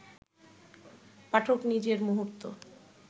পাঠক নিজের মুহূর্ত